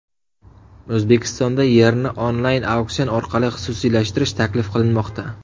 O‘zbekistonda yerni onlayn-auksion orqali xususiylashtirish taklif qilinmoqda.